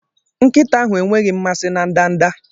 Nkịta ahụ enweghị mmasị na ndanda.